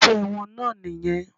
Iṣẹ́ wọn náà nìyẹn.